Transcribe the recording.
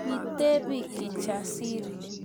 Kitebe Kijasiri